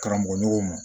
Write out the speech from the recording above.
Karamɔgɔɲɔgɔnw ma